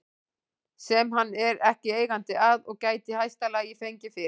sem hann er ekki eigandi að og gæti í hæsta lagi fengið fyrir